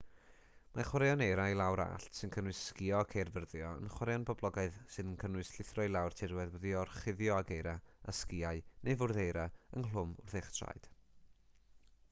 mae chwaraeon eira i lawr allt sy'n cynnwys sgïo ac eirfyrddio yn chwaraeon poblogaidd sy'n cynnwys llithro i lawr tirwedd wedi'i gorchuddio ag eira â sgïau neu fwrdd eira ynghlwm wrth eich traed